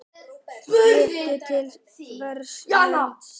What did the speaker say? Lítum til vors lands.